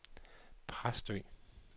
Præstø